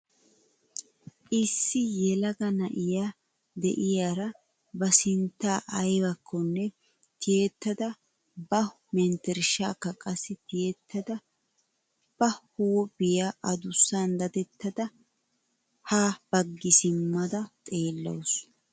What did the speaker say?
Issi yelaga na'iyaa de'iyaara ba sintta aybakkone tiyettada ba mentershaaka qassi tiyettada ba huuphiyaa adussan dadettada ha baggi simmada xeellaws.